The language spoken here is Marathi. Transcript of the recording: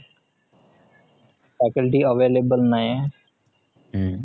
faculty available नाहीये